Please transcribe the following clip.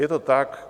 Je to tak.